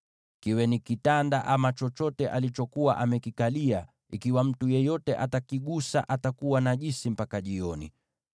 Kiwe ni kitanda ama chochote alichokuwa amekikalia, ikiwa mtu yeyote atakigusa, atakuwa najisi mpaka jioni.